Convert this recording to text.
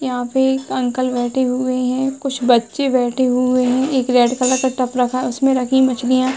यहाँ पे एक अंकल बैठे हुए है। कुछ बच्चे बैठे हुए है। एक रेड कलर का टब रखा है उसमें रखी मछलियां --